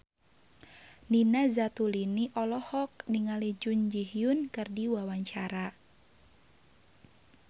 Nina Zatulini olohok ningali Jun Ji Hyun keur diwawancara